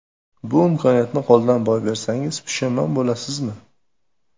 Bu imkoniyatni qo‘ldan boy bersangiz pushaymon bo‘lasizmi?